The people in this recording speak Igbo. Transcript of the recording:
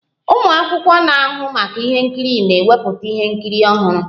Ụmụ akwụkwọ na-ahụ maka ihe nkiri na-ewepụta ihe nkiri ọhụrụ